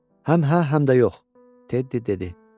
Həm hə, həm də yox, Teddi dedi.